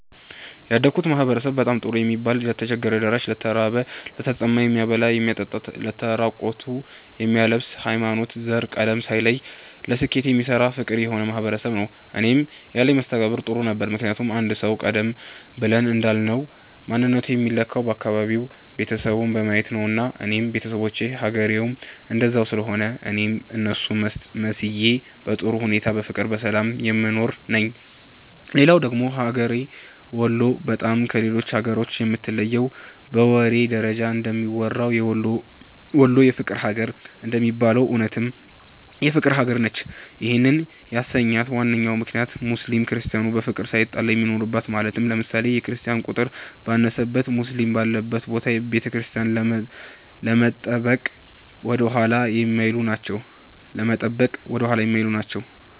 ያደግሁበት ማህበረሰብ በጣም ጥሩ የሚባል ለተቸገረ ደራሽ፣ ለተራበ፣ ለተጠማ የሚያበላ የሚያጠጣ ለተራቆቱ የሚያለብስ፣ ሀይማኖት፣ ዘር፣ ቀለም ሳይለይ ለስኬት የሚሰራ ፍቅር የሆነ ማህበረሰብ ነዉ። እኔም ያለኝ መስተጋብር ጥሩ ነበረ ምክንያቱም አንድ ሰዉ ቀደም ብለን እንዳልነዉ ማንነቱ የሚለካዉ አካባቢዉን፣ ቤተሰቡን በማየት ነዉና እኔም ቤተሰቦቼም ሀገሬዉም እንደዛ ስለሆነ እኔም እነሱን መስዬ በጥሩ ሁኔታ በፍቅርና በሰላም የምኖር ነኝ። ሌላዉ ደግሞ ሀገሬ ወሎ በጣም ከሌሎች ሀገራቶችም የምትለየዉ በወሬ ደረጃም እንደሚወራዉ "ወሎ የፍቅር ሀገር" እንደሚባለዉም እዉነትም የፍቅር ሀገር ነች ይህንም ያሰኛት ዋናው ምክንያት ሙስሊም ክርስቲያኑ በፍቅር ሳይጣላ የሚኖርበት ማለትም ለምሳሌ፦ የክርስቲያን ቁጥር ባነሰበት ሙስሊም ባለበት ቦታ ቤተክርስቲያንን ለመጠበቅ ወደኋላ የማይሉ ናቸዉ።